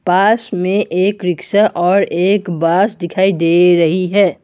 पास में एक रिक्शा और एक बस डिखाई दे रही है।